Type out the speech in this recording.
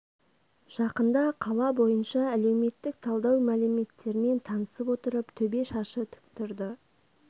жақында қала бойынша әлеуметтік талдау мәліметтермен танысып отырып төбе шашы тік тұрды